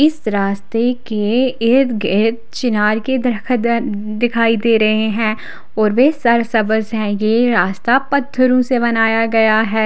इस रस्ते के इरत गीरत चिनार के दर खद दिखाई दे रहे है और वे सर सव्ज है यह रास्ता पथरो से बनाया गया है।